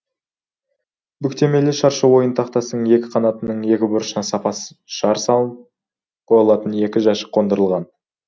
бүктемелі шаршы ойын тақтасының екі қанатының екі бұрышына запас шар салынып қойылатын екі жәшік қондырылған